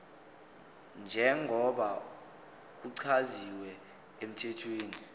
njengoba kuchaziwe emthethweni